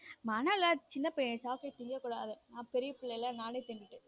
மனோலாம் சின்ன பையன் chocolate திங்க கூடாது நான் பெரிய பிள்ளைகளை நானே தின்னுட்டேன்.